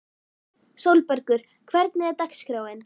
Sólbergur, hvernig er dagskráin?